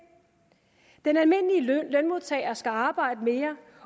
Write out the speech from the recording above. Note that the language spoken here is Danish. den almindelige lønmodtager skal arbejde mere